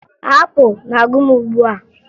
Apụ na-agụ m ugbua